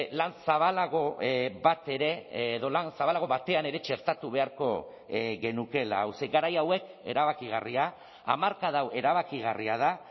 lan zabalago bat ere edo lan zabalago batean ere txertatu beharko genukeela hau ze garai hauek erabakigarria hamarkada hau erabakigarria da